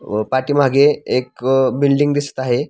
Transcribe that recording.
अ पाठीमागे एक बिल्डींग दिसत आहे.